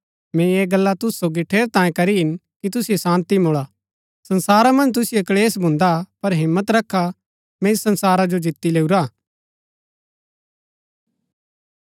मैंई ऐह गल्ला तुसु सोगी ठेरैतांये करी हिन कि तुसिओ शान्ती मूळा संसारा मन्ज तुसिओ क्‍लेश भून्दा हा पर हिम्मत रखा मैंई संसारा जो जीती लैऊरा